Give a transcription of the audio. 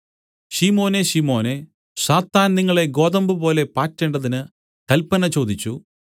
ശിമോനേ ശിമോനെ സാത്താൻ നിങ്ങളെ ഗോതമ്പുപോലെ പാറ്റേണ്ടതിന് കല്പന ചോദിച്ചു